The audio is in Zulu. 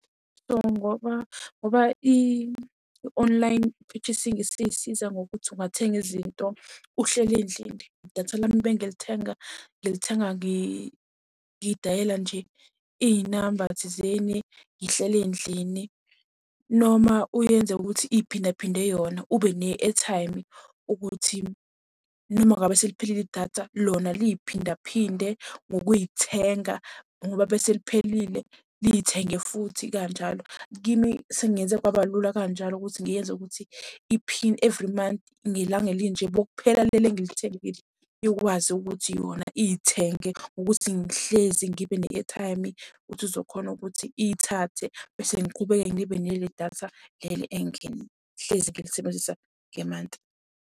So, ngoba ngoba i-online purchasing isisiza ngokuthi ungathenga izinto uhleli endlini. Datha lami ebengilithenga ngilithenga ngidayela nje iy'namba thizeni ngihleli endlini. Noma uyenze'ukuthi iy'phinda phinde yona ube ne-airtime ukuthi noma ngabe seliphelile idatha, lona liy'phinda phinde ngokuy'thenga, ngoba bese liphelile liy'thenge futhi kanjalo. Kimi sengenze kwaba lula kanjalo ukuthi ngiyenze ukuthi i-pin every month, ngelanga elinje bekuphela leli engilithengile ikwazi ukuthi yona Iy'thenge ukuthi ngihlezi ngibe ne-airtime. Ukuthi uzokhona ukuthi iy'thathe bese ngiqhubeke ngibe nele datha leli engihlezi ngilisebenzisa ngemanti.